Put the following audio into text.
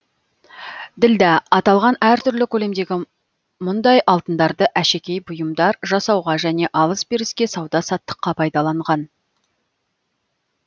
ділда аталған әртүрлі көлемдегі мұндай алтындарды әшекей бұйымдар жасауға және алыс беріске сауда саттыққа пайдаланған